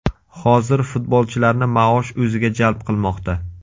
Hozir futbolchilarni maosh o‘ziga jalb qilmoqda.